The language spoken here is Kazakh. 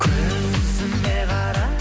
көзіме қара